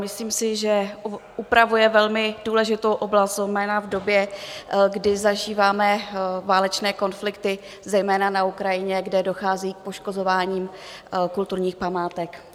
Myslím si, že upravuje velmi důležitou oblast, zejména v době, kdy zažíváme válečné konflikty, zejména na Ukrajině, kde dochází k poškozování kulturních památek.